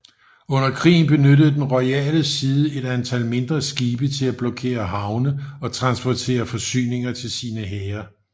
Under krigen benyttede den royale side et antal mindre skibe til at blokere havne og transportere forsyninger til sine hære